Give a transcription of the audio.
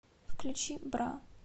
включи бра